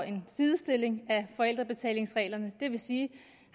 en sidestilling af forældrebetalingsreglerne det vil sige